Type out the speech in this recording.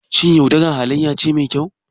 Shin yaudara halayya ce mai kyau?